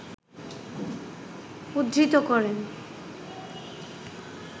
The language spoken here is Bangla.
উদ্ধৃত করেন